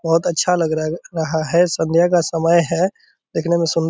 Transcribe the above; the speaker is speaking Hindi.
बहुत अच्छा लग रहा है रहा है संध्या का समय है देखने में सुंदर --